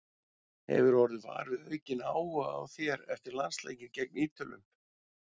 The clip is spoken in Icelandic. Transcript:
Hefurðu orðið var við aukinn áhuga á þér eftir landsleikinn gegn Ítölum?